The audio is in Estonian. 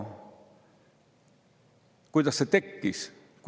Kuidas see tekkis?